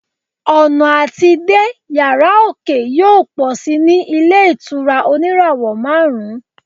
ọnà ati dé yara oke yíò pọ sí ní ilé ìtura oníràwò marun